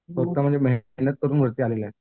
एकदम म्हणजे मेहनत करून वरती आलेला आहे.